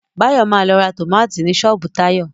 Báyọ̀ ma lọ ra tómátì ni ṣọ́ọ̀bú Táyọ̀